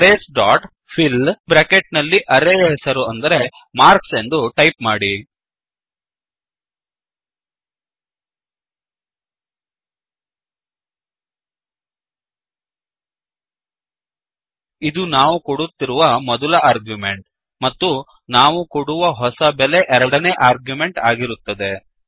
Arraysಡಾಟ್ fill bracket ನಲ್ಲಿ array ಯ ಹೆಸರು ಅಂದರೆ ಮಾರ್ಕ್ಸ್ ಎಂದು ಟೈಪ್ ಮಾಡಿ ಇದು ನಾವು ಕೊಡುತ್ತಿರುವ ಮೊದಲ ಆರ್ಗ್ರ್ಯುಮೆಂಟ್ ಮತ್ತು ನಾವು ಕೊಡುವ ಹೊಸ ಬೆಲೆ ಎರಡನೇ ಆರ್ಗ್ಯುಮೆಂಟ್ ಆಗಿರುತ್ತದೆ